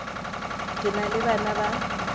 ke na le bana ba